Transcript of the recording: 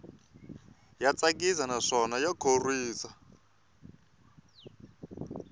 ya tsakisa naswona ya khorwisa